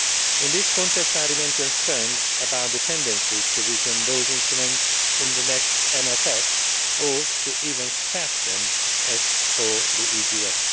In this context I remain concerned about the tendencies to weaken those instruments in the next MFF or even to scrap them, as with the EGAF.